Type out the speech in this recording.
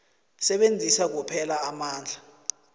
sebenzisa kuphela amandla